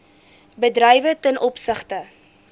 bedrywe ten opsigte